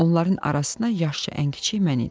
Onların arasına yaşca ən kiçik mən idim.